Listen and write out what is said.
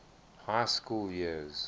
high school years